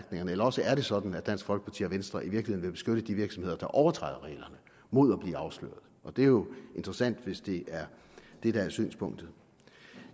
eller også er det sådan at dansk folkeparti og venstre i virkeligheden vil beskytte de virksomheder der overtræder reglerne mod at blive afsløret det er jo interessant hvis det er det der er synspunktet